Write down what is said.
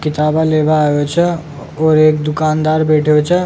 किताबे लेवा आयो छे और एक दुकानदार बैठो छे।